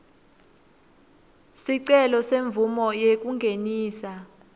sicelo semvumo yekungenisa